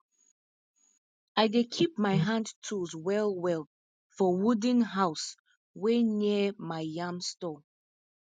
i dey keep my hand tools well well for wooden house wey near my yam store